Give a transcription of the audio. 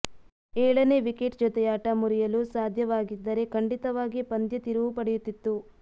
ಏಳನೇ ವಿಕೆಟ್ ಜೊತೆಯಾಟ ಮುರಿಯಲು ಸಾಧ್ಯವಾಗಿದ್ದರೆ ಖಂಡಿತವಾಗಿ ಪಂದ್ಯ ತಿರುವು ಪಡೆಯುತಿತ್ತು